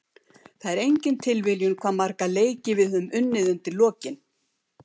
Það er engin tilviljun hvað marga leiki við höfum unnið undir lokin.